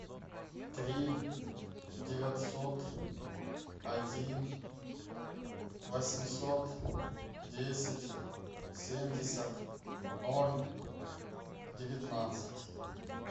три девятьсот один восемьсот десять семьдесят ноль девятнадцать